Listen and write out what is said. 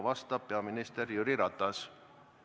Vastab peaminister Jüri Ratas.